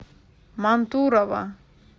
мантурово